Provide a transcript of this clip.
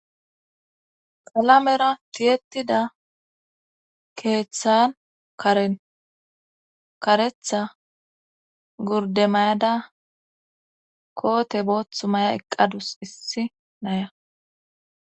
Kalamera tiyettida keeththan karen karetha gurdemayada koote booththu maya eqqadus issi naya.